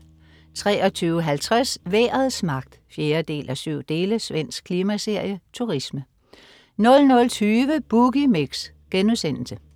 23.50 Vejrets magt 4:7. Svensk klimaserie. Turisme 00.20 Boogie Mix*